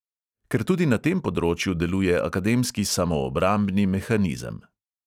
Ker tudi na tem področju deluje akademski samoobrambni mehanizem.